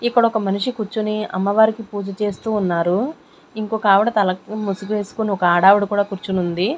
ఇక్కడ ఒక మనిషి కూర్చుని అమ్మవారికి పూజ చేస్తూ ఉన్నారు ఇంకొక ఆవిడ తలకు ముసుగు వేసుకొని ఒక ఆడావిడి కూడా కుర్చొనుంది.